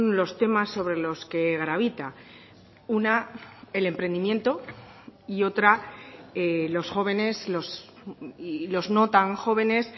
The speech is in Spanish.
los temas sobre los que gravita una el emprendimiento y otra los jóvenes y los no tan jóvenes